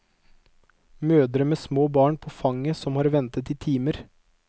Mødre med små barn på fanget som har ventet i timer.